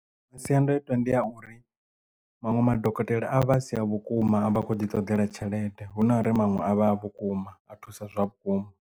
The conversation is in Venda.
Masiandaitwa ndi a uri manwe madokotela a vha a si a vhukuma avha akho ḓi ṱoḓela tshelede hu na uri manwe a vha a vhukuma a thusa zwa vhukuma.